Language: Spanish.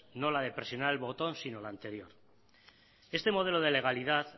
no la de presionar un botón sino la anterior este modelo de legalidad